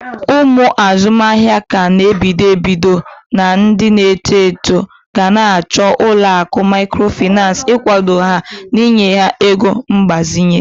Ụmụ azụmahịa ka n'ebido ebido na ndi na-eto eto gana achọ ụlọakụ mikrofinas igwado ha n'inye ha ego mgbazinye.